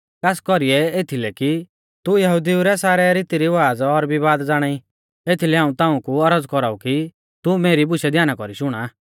खास कौरीऐ एथीलै कि तू यहुदिऊ रै सारै रीतीरिवाज़ा और विवाद ज़ाणाई एथीलै हाऊं ताऊं कु औरज़ कौराऊ कि तू मेरी बुशै ध्याना कौरी शुणा